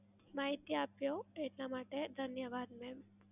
માહિતી આપ્યો એટલા માટે ધન્યવાદ મેમ.